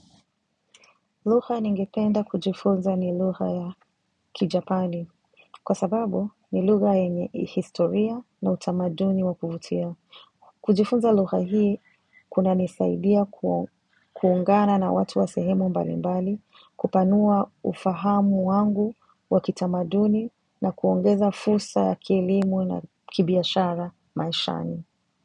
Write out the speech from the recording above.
Lugha ningependa kujifunza ni lugha ya kijapani kwa sababu ni lugha yenye historia na utamaduni wa kuvutia. Kujifunza lugha hii kunanisaidia kuungana na watu wa sehemu mbalimbali, kupanua ufahamu wangu wa kitamaduni na kuongeza fursa ya kielimu na kibiashara maishani.